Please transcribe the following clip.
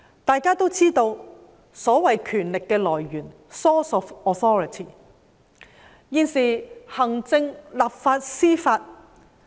大家都知道所謂權力的來源，就是來自行政、立法和司法機關。